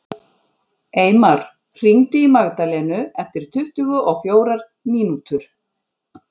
Eymar, hringdu í Magdalenu eftir tuttugu og fjórar mínútur.